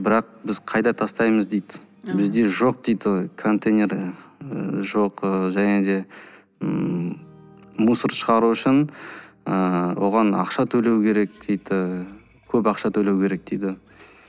бірақ қайда тастаймыз дейді бізде жоқ дейді ғой контейнер жоқ және де мусор шығару үшін ыыы оған ақша төлеу керек дейді і көп ақша төлеу керек дейді